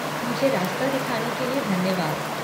मुझे रास्ता दिखाने के लिए धन्यवाद।